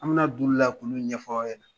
An bɛna d'ula k'ola ɲɛfaw ɲɛnɛ